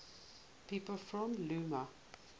people from ulm